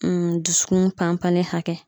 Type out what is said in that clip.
dusukun pan panli hakɛ